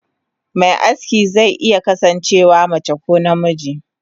Me aski ze iya kasan cewa mace ko namiji.